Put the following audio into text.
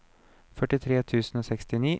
førtitre tusen og sekstini